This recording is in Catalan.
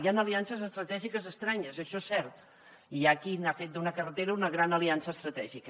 hi han aliances estratègiques estranyes això és cert i hi ha qui n’ha fet d’una carretera una gran aliança estratègica